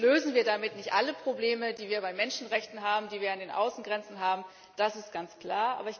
Natürlich lösen wir damit nicht alle Probleme, die wir bei Menschenrechten haben, die wir an den Außengrenzen haben das ist ganz klar.